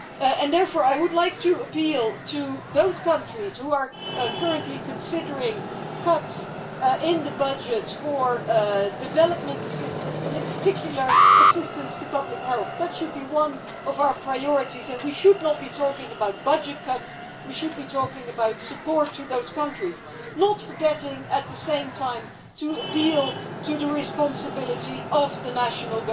I would therefore like to appeal to those countries who are currently considering cuts in their budgets for development assistance and, in particular, assistance to public health. That should be one of our priorities, and we should not be talking about budget cuts. We should be talking about support to those countries, not forgetting, at the same time, to appeal to the responsibility of the national